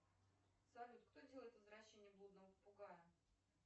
салют кто делает возвращение блудного попугая